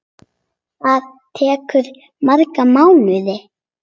Það tekur marga mánuði.